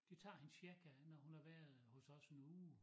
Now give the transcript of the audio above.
Det tager hende cirka når hun har været hos os en uge